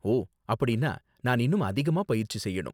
ஓ, அப்படின்னா நான் இன்னும் அதிகமா பயிற்சி செய்யணும்.